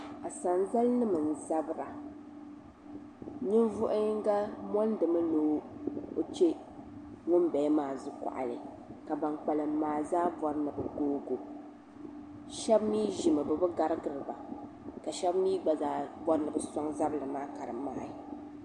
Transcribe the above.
Asanzali nim n zabira ninvuɣu yinga mondimi ni o chɛ ŋunbala maa zukuɣali ka ban kpalim maa zaa bori ni bi googo shab mii ʒimo bibi garidiriba ka shab mii gba zaa bori ni bi soŋ zabili maa ka di mali